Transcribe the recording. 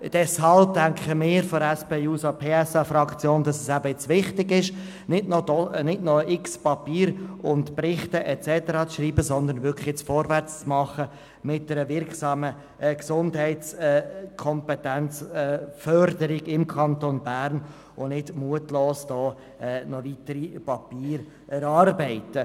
Deshalb denken wir von der SP-JUSO-PSA-Fraktion, dass es jetzt wichtig ist, nicht noch unzählige Berichte und Papiere zu verfassen, sondern vorwärtszugehen und die Gesundheitskompetenz im Kanton Bern wirksam zu fördern.